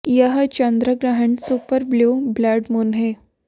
यह चंद्र ग्रहण सुपर ब्लू ब्लड मून है